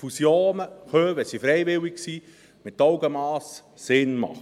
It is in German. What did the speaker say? Fusionen können Sinn machen, wenn sie freiwillig sind und mit Augenmass vorgenommen werden.